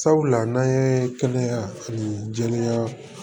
Sabula n'an ye kɛnɛya ani jɛya